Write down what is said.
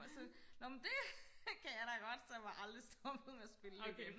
og så nå men det kan jeg da godt og så er jeg bare aldrig stoppet med at spille det igen